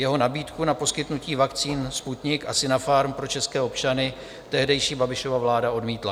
Jeho nabídku na poskytnutí vakcín Sputnik a Sinopharm pro české občany tehdejší Babišova vláda odmítla.